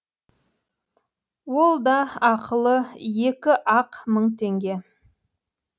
ол да ақылы екі ақ мың теңге